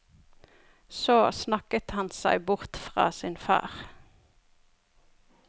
Så snakket han seg bort fra sin far.